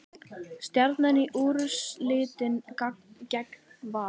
Stjarnan í úrslitin gegn Val